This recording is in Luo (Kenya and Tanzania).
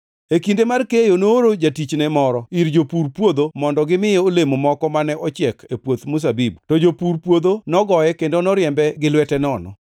E kinde mar keyo nooro jatichne moro ir jopur puodho mondo gimiye olemo moko mane ochiek e puoth mzabibu. To jopur puodho nogoye kendo noriembe gi lwete nono.